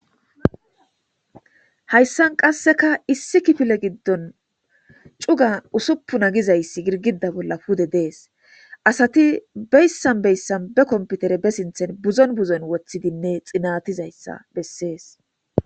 Hayssan qasseka issi kifile giddon cuga usuppuna gizayssi girgida bolla pude dees asati beyssan beyssan be komputere be sinthen buzon buzon woththidinne xinatizayssa bessees